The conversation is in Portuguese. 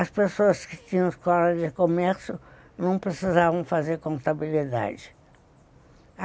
As pessoas que tinham escola de comércio não precisavam fazer contabilidade.